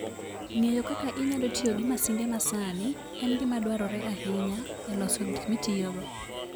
Ng'eyo kaka inyalo tiyo gi masinde masani en gima dwarore ahinya e loso gik mitiyogo.